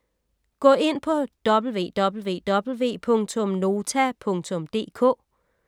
Gå ind på www.nota.dk